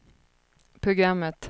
programmet